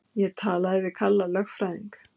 Ég talaði við Kalla lögfræðing.